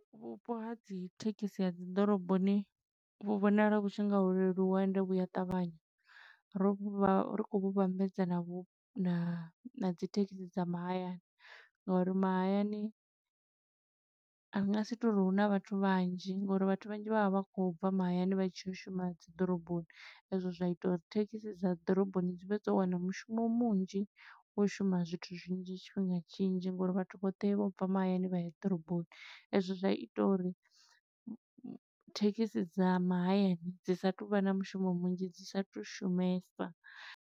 Vhupo ha dzi thekhisi ha dzi ḓoroboni vhu vhonala vhu tshi nga ho leluwa ende vhu a ṱavhanya. Ro vha ri khou vhu vhambedza na vhu, na dzi thekhisi dza mahayani, nga uri mahayani ri nga si to ri huna vhathu vhanzhi ngo uri vhathu vhanzhi vha vha vha kho bva mahayani, vha tshi yo shuma dzi ḓoroboni. E zwo zwa ita uri thekhisi dza ḓoroboni, dzi vhe dzo wana mushumo munzhi, wo u shuma zwithu zwinzhi nnzhi tshifhinga tshinzhi, ngo uri vhathu vhoṱhe vho bva mahayani vha ya ḓoroboni. E zwo zwa ita uri thekhisi dza mahayani, dzi sa tu vha na mushumo munzhi, dzi sa tu shumesa.